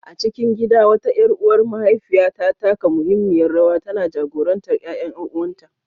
A cikin gida, wata ƴar uwar mahaifiyar ta taka muhimmiyar rawa, tana jagorantar ƴaƴan ƴan’uwanta.